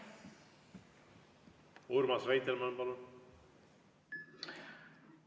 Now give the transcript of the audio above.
Urmas Reitelmann, palun!